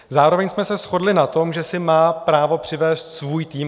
Zároveň jsme se shodli na tom, že si má právo přivést svůj tým.